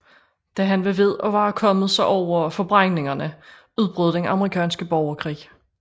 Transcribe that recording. Da han var ved at være kommet sig over forbrændingerne udbrød den amerikanske borgerkrig